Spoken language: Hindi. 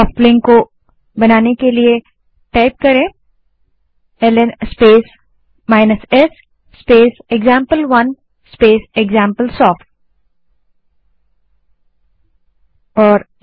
सोफ्ट लिंक को बनाने के लिए ln space s space example one space example soft command type करें